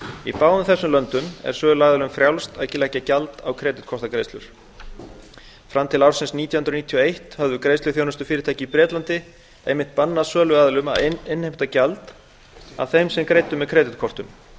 í báðum þessum löndum er söluaðilum frjálst að leggja gjald á kreditkortagreiðslur fram til ársins nítján hundruð níutíu og eitt höfðu greiðsluþjónustufyrirtæki í bretlandi einmitt bannað söluaðilum að innheimta gjald af þeim sem greiddu með kreditkortum